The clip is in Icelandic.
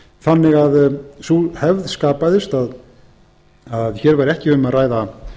þannig að sú hefð skapaðist að hér æru ekki um að ræða